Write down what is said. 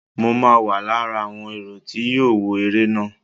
Mo ma wà lára àwọn èrò tí yóò wọ eré náà.